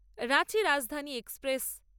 Ranchi Rajdhani express